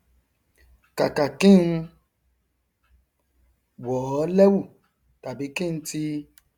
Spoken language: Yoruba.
kàkà kí n wọ ọ lẹwù tàbí kí n tì